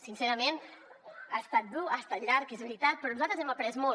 sincerament ha estat dur ha estat llarg és veritat però nosaltres hem après molt